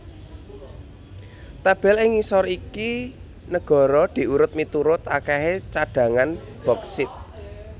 Tabel ig ngisor iki negara diurut miturut akèhé cadhangan boksit